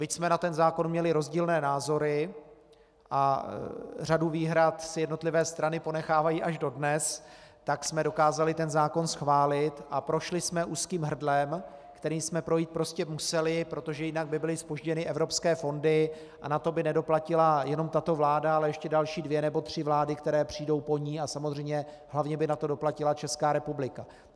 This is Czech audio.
Byť jsme na ten zákon měli rozdílné názory a řadu výhrad si jednotlivé strany ponechávají až dodnes, tak jsme dokázali ten zákon schválit a prošli jsme úzkým hrdlem, kterým jsme projít prostě museli, protože jinak by byly zpožděny evropské fondy a na to by nedoplatila jenom tato vláda, ale ještě další dvě nebo tři vlády, které přijdou po ní, a samozřejmě hlavně by na to doplatila Česká republika.